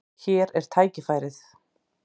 Hér er tækifærið.